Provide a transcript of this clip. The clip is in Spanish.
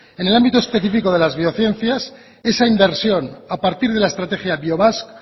en el ámbito específico de las biociencias esa inversión a partir de la estrategia biobasque